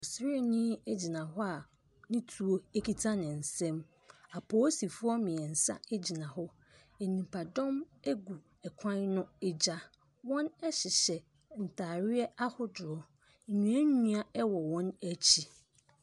Sraani gyina hɔ a ne tuo kita ne nsam. Apolisifoɔ mmeɛnsa gyina hɔ. Nipadɔm gu kwan no agya. Wɔhyehyɛ ntadeɛ a hodoɔ. Nnua nnua wɔ wɔn akyi.